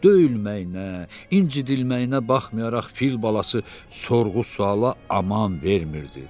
Döyülməyinə, incdilməyinə baxmayaraq fil balası sorğu-sualla aman vermirdi.